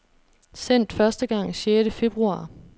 Sendt første gang sjette februar.